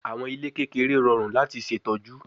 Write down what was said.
Awọn ile kekere rọrun lati ṣetọju